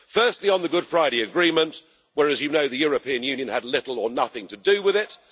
Firstly, on the Good Friday Agreement, where, as you know, the European Union had little or nothing to do with it.